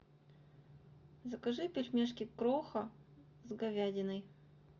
закажи пельмешки кроха с говядиной